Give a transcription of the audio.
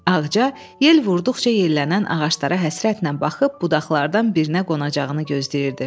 Ağca yel vurduqca yellənən ağaclara həsrətlə baxıb budaqlardan birinə qonacağını gözləyirdi.